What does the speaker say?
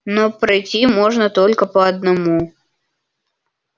но пройти можно только по одному